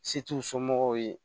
Se t'u somɔgɔw ye